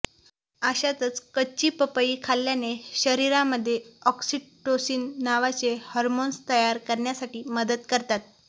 अशातच कच्ची पपई खाल्याने शरीरामध्ये ऑक्सिटोसीन नावाचे हार्मोन्स तयार करण्यासाठी मदत करतात